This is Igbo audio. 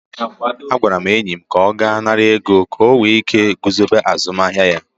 Agwara m enyi m ka ọ gaa nara ego ka o nwee ike guzobe azụmahịa ya.